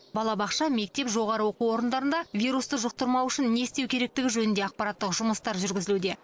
балабақша мектеп жоғары оқу орындарында вирусты жұқтырмау үшін не істеу керектігі жөнінде ақпараттық жұмыстар жүргізілуде